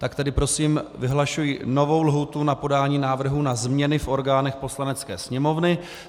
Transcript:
Tak tedy prosím vyhlašuji novou lhůtu na podání návrhů na změny v orgánech Poslanecké sněmovny.